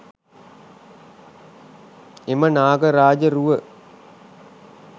එම නාග රාජ රුව